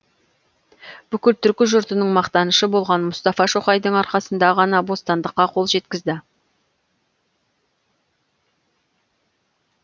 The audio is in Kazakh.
бүкіл түркі жұртының мақтанышы болған мұстафа шоқайдың арқасында ғана бостандыққа қол жеткізді